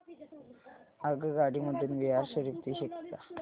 आगगाडी मधून बिहार शरीफ ते शेखपुरा